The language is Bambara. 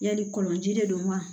Yali kɔlɔnji de don wa